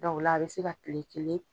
o la a bɛ se ka kile kelen